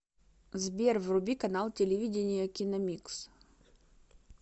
сбер вруби канал телевидения киномикс